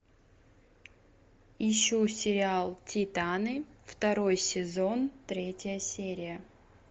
ищу сериал титаны второй сезон третья серия